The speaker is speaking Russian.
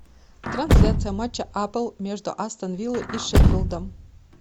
трансляция матча апл между астон виллой и шеффилдом